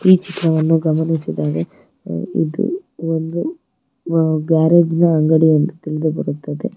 ಈ ಚಿತ್ರವನ್ನು ಗಮನಿಸಿದರೆ ಇದು ಒಂದು ಗ್ಯಾರೇಜ್ ನ ಅಂಗಡಿಯಂದು ತಿಳಿದು ಬರುತ್ತದೆ.